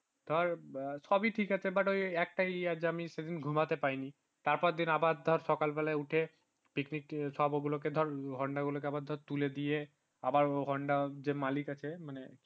ধর সবই ঠিক আছে but ওই সেই আজ যে আমি সেদিন ঘুমাতে পারিনি তারপরের দিন আবার ধর সকাল বেলায় উঠে picnic সবগুলোকে ধর গুলোকে আবার তুলে দিয়ে আবার honda মালিক আছে মানে